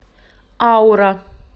аура